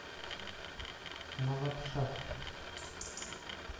навабшах